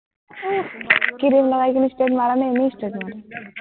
Cream লগাই কিনে straight মাৰ নে, এনেই straight মাৰ?